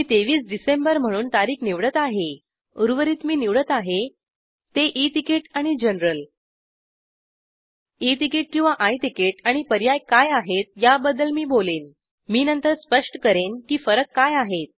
मी २३ डिसेंबर म्हणून तारीख निवडत आहे उर्वरित मी निवडत आहे ते ई तिकीट आणि जनरल ई तिकीट किंवा आय तिकीट आणि पर्याय काय आहेत याबद्दल मी बोलेन मी नंतर स्पष्ट करेन की फरक काय आहेत